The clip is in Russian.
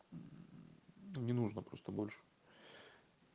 не нужно просто больше